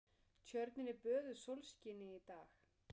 Tjörnin er böðuð sólskini í dag.